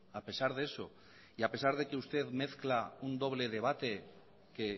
a pesar de eso y a pesar de que usted mezcla un doble debate que